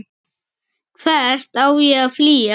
Hvert á ég að flýja?